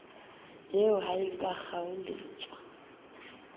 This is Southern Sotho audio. eo ha e ka kgaoletswa